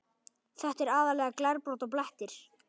Þetta er aðallega glerbrot og blettir.